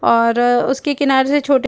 और उसके किनारे से छोट --